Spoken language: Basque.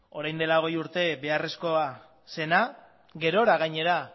orain dela hogei urte beharrezkoa zena gerora gainera